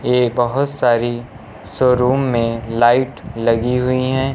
यह बहुत सारी शोरूम में लाइट लगी हुई हैं।